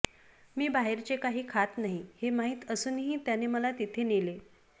मी बाहेरचे काही खात नाही हे माहीत असूनही त्याने मला तिथे नेले